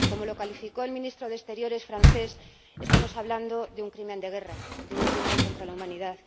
Como lo calificó el Ministro de Exteriores francés, estamos hablando de un crimen de guerra, de un crimen contra la humanidad.